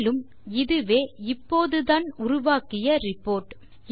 மேலும் இதுவே இப்போதுதான் உருவாக்கிய ரிப்போர்ட்